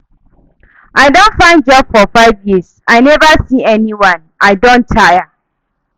I don find job for five years I neva see anyone, I don tire.